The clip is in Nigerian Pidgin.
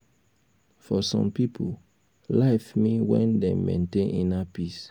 for some pipo life mean when dem maintain inner peace